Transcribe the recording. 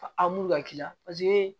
A m'u ka k'i la paseke